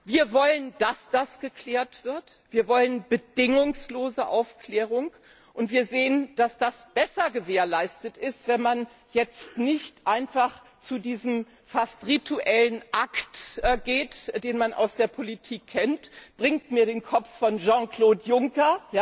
Wir wollen, dass das geklärt wird, wir wollen bedingungslose Aufklärung, und wir sehen, dass das besser gewährleistet ist, wenn man jetzt nicht einfach zu diesem fast rituellen Akt übergeht, den man aus der Politik kennt Bringt mir den Kopf von Jean Claude Juncker.